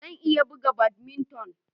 Zan iya buga badminton